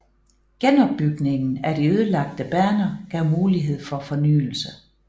Genopbygningen af de ødelagte baner gav mulighed for fornyelse